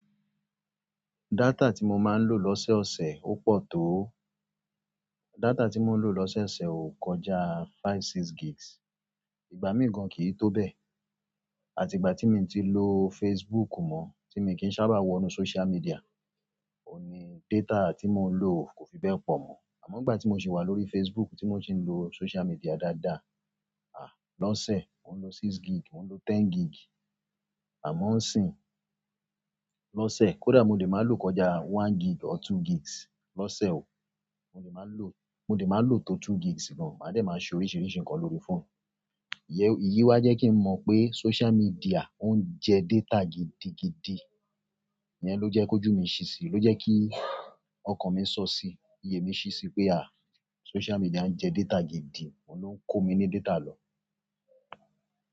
Data tí mo máa ń lò lọ́sẹ̀ ọ̀sẹ̀ ó pọ̀ tó. Data tí mo ń lò lọ́sẹ̀ ọ̀sẹ̀ o kọjá five, six gigs. Ìgbà mìíràn gan kì í tó bẹ́ẹ̀. Àti ìgbà tí mi ò tíì lo Facebook mọ, tí mi o kì í sábà wọnú social media, òun ní data tí mo lò kò fi bẹ́ẹ̀ pọ̀ mọ́. Àmọ́ nìgbà tí mo sì wà lórí Facebook, tí mo sì ń lo social media dáadáa, lọ́ṣe mo n lò six gig, mo n lò ten gig. Àmọ́ ńsìn, lọ́sẹ̀ kódà mo lè máa lò kọjá one gig or two gigs. Lọ́sẹ̀ o, mo lè máa lò, mo lè máa lò tó two gigs gan, màá dẹ̀ máa ṣe oríṣìíríṣìí nǹkan lórí fóònù. Iyén, ìyí wá jẹ́ kí n mọ̀ pé social media o ń jẹ data gidigidi. Iyẹn ló jẹ́ kó jù mí ṣi si, ló jẹ́ kí ọkàn mi sọ sí i, iyè mí ṣi sí i pé, à, social media ń jẹ data gidi, òun ló ń kó mi ní data lọ.